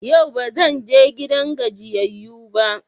Yau ba zan je gidan gajiyayyu ba.